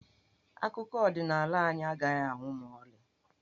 Akụkọ ọdịnaala anyị agaghị anwụ ma ọlị.